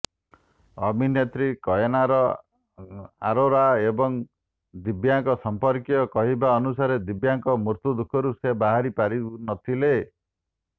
ଅଭିନେତ୍ରୀ କାଏନାର ଅରୋରା ଏବଂ ଦିବ୍ୟାଙ୍କ ସଂପର୍କୀୟଙ୍କ କହିବା ଅନୁସାରେ ଦିବ୍ୟାଙ୍କ ମୃତ୍ୟୁ ଦୁଃଖରୁ ସେ ବାହାରି ପାରୁନଥିଲେ